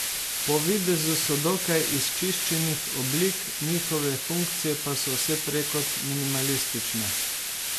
Po videzu so dokaj izčiščenih oblik, njihove funkcije pa so vse prej kot minimalistične.